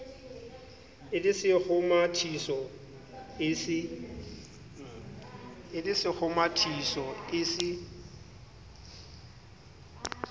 e le sekgomathiso e se